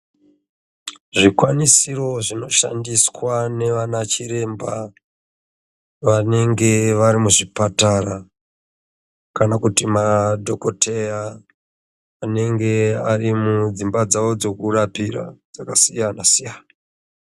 Zvikwanisiro zvinoshandiswa navana chiremba vanenge vari muzvipatara kana kuti madhokodheya anenge ari mudzimba dzawo dzekurapira dzakasiyana.